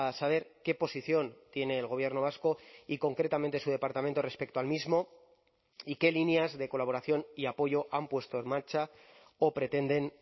saber qué posición tiene el gobierno vasco y concretamente su departamento respecto al mismo y qué líneas de colaboración y apoyo han puesto en marcha o pretenden